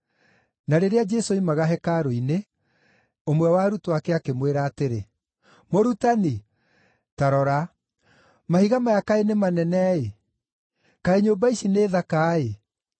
Na rĩrĩa Jesũ oimaga hekarũ-inĩ, ũmwe wa arutwo ake akĩmwĩra atĩrĩ, “Mũrutani, ta rora! Mahiga maya kaĩ nĩ manene-ĩ! Kaĩ nyũmba ici nĩ thaka-ĩ!”